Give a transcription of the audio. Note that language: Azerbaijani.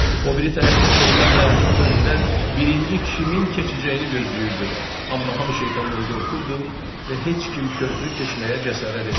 O biri tərəfdə şeytan dayanıb körpüdən birinci kimin keçəcəyini gözləyirdi, amma hamı şeytandan qorxurdu və heç kim körpünü keçməyə cəsarət etmirdi.